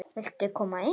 Viltu koma inn?